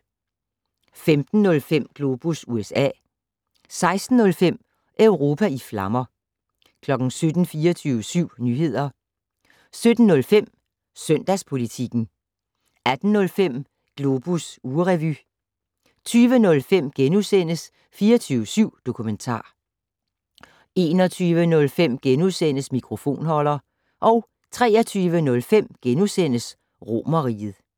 15:05: Globus USA 16:05: Europa i flammer 17:00: 24syv Nyheder 17:05: Søndagspolitikken 18:05: Globus ugerevy 20:05: 24syv Dokumentar * 21:05: Mikrofonholder * 23:05: Romerriget *